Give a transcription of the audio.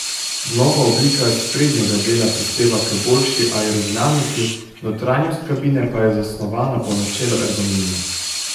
Nova oblika sprednjega dela prispeva k boljši aerodinamiki, notranjost kabine pa je zasnovana po načelu ergonomije.